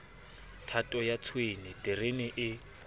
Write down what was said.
thato ya tshwene terene e